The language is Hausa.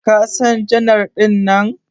Ka San janar dinnan?